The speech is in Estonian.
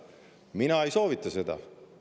Mina ei soovita seda.